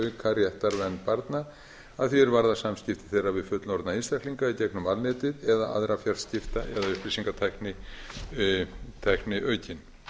auka réttarvernd barna að því varðar samskipti þeirra við fullorðna einstaklinga í gegnum alnetið eða aðra fjarskipta eða upplýsingatækni aukin